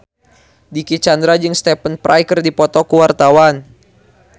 Dicky Chandra jeung Stephen Fry keur dipoto ku wartawan